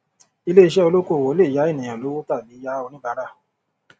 ilé iṣẹ olókoòwò lè yá ènìyàn lówó tàbí yá oníbàárà